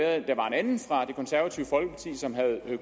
at der var en anden fra det konservative folkeparti som havde